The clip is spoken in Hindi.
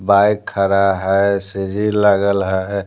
बाइक खड़ा है सीजी लगल है।